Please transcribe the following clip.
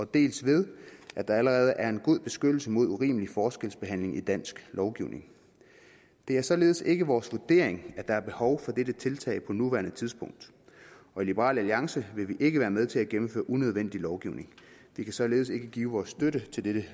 dels ved at der allerede er en god beskyttelse mod urimelig forskelsbehandling i dansk lovgivning det er således ikke vores vurdering at der er behov for dette tiltag på nuværende tidspunkt og i liberal alliance vil vi ikke være med til at gennemføre unødvendig lovgivning vi kan således ikke give vores støtte til dette